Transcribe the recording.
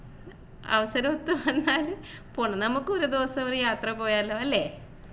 അവസരം ഒത്തു വ ന്നാൽ നമുക്ക് ഒരു ദിവസം ഒരു യാത്ര പോയാലോ അല്ലേ